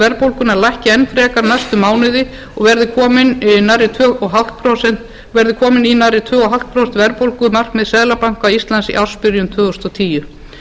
verðbólgunnar lækki enn frekar næstu mánuði og verði kominn í nærri tvö og hálft prósent verði kominn í nærri tvö og hálft prósent verðbólgumarkmið seðlabanka íslands í ársbyrjun tvö þúsund og tíu